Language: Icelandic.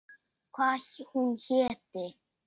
Hvað hún héti.